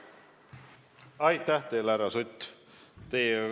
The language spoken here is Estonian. Aitäh teile, härra Sutt!